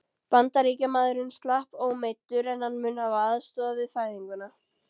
Bandaríkjamaðurinn slapp ómeiddur, en hann mun hafa aðstoðað við fæðinguna.